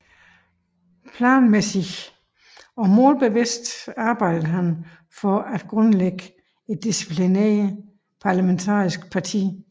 Planmæssig og målbevidst arbejdede han for at grundlægge et disciplineret parlamentarisk parti